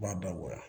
U b'a dabɔ